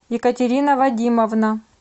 екатерина вадимовна